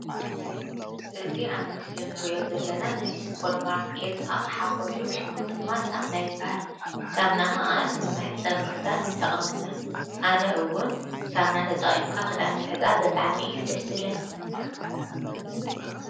እዚ ኣብ ምስሊ ንሪኦ ዘለና ናይ ሱፐርማርኬት ኣቕሓ ኾይኑ ሽሙ ድማ ሳሙና ይበሃል ሳሙና ከዓ ንመሕፀቢ ክዳን ይጠቅመና ኣነ እዉን ሳሙና ተጠቂምካ ኸዳን ምሕፃብ ብጣዕሚ እዩ ደስ ዝብለኒ ።